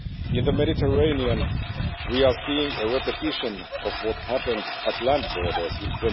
In the Mediterranean, we are seeing a repetition of what happened at land borders in